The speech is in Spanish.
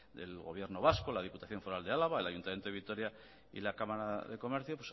el gobierno vasco la diputación foral de álava el ayuntamiento de vitoria y la cámara de comercio